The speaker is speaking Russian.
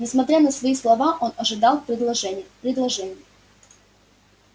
несмотря на свои слова он ожидал предложения предложения